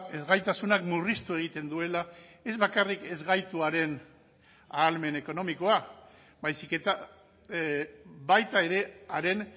ezgaitasunak murriztu egiten duela ez bakarrik ezgaituaren ahalmen ekonomikoa baizik eta baita ere haren